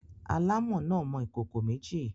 Alámọ̀ náà mọ ìkókó méjì.